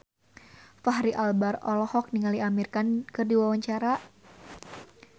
Fachri Albar olohok ningali Amir Khan keur diwawancara